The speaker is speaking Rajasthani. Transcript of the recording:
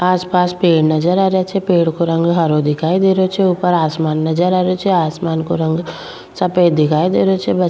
आस पास पेड़ नजर आ रेहा छे पेड़ को रंग हरो दिखाई दे रेहो छे ऊपर आसमान नजर आ रेहो छे आसमान को रंग सफ़ेद दिखाई दे रो छे। --